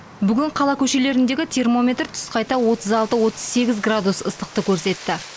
бүгін қала көшелеріндегі термометр түс қайта отыз алты отыз сегіз градус ыстықты көрсетті